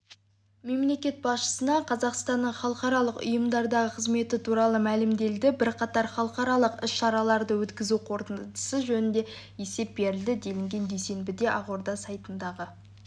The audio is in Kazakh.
мемлекет басшысына қазақстанның халықаралық ұйымдардағы қызметі туралы мәлімделді бірқатар халықаралық іс-шараларды өткізу қорытындысы жөнінде есеп берілді делінген дүйсенбіде ақорда сайтындағы